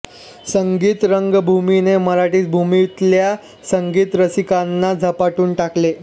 संगीत रंगभूमीने मराठी भूमीतल्या संगीत रसिकांना झपाटून टाकले